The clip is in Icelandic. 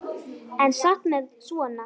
En samt með svona.